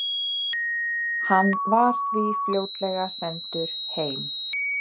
Hann var því fljótlega sendur heim.